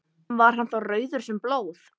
Var hann þá rauður sem blóð.